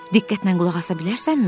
Diqqətlə qulaq asa bilərsənmi?